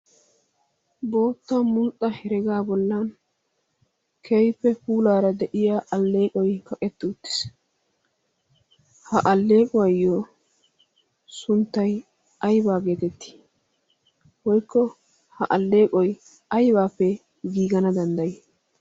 bootta munxxa heregaa bollan keyfe puulaara de'iya alleeqoy kaqetti uttiis ha alleequwaayyo sunttay aybaa geetettii boykko ha alleeqoy aybaappe giigana danddayii